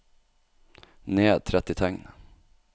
Ned tretti tegn